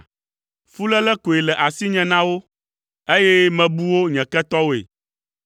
Fuléle koe le asinye na wo, eye mebu wo nye ketɔwoe.